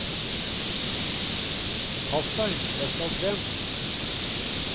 Pass deg, jeg skal frem.